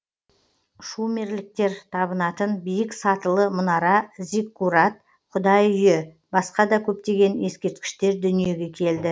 шумерліктер табынатын биік сатылы мұнара зиккурат құдай үйі басқа да көптеген ескерткіштер дүниеге келді